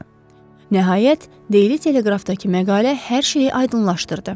Nəhayət, Deyli Teleqrafdakı məqalə hər şeyi aydınlaşdırdı.